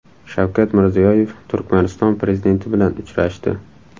Shavkat Mirziyoyev Turkmaniston prezidenti bilan uchrashdi.